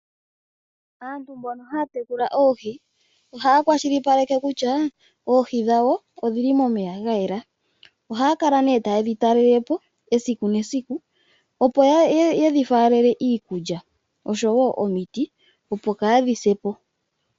Aantu mbono haya tekula oohi, ohaya kwashilipaleka kutya oohi dhawo odhili momeya gayela. Ohaya kala ne tayedhi talele po esiku nesiku opo yedhifalele iikulya osho wo omiti opo kadhi se po.